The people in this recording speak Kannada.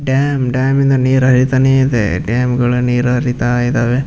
ಡ್ಯಾಮ್ ಡ್ಯಾಮ್ ಇಂದ ನೀರ್ ಹರಿತಾನೇ ಇದೆ ಡ್ಯಾಮ್ಗಳು ನೀರು ಹರಿತಾ ಇದ್ದಾವೆ.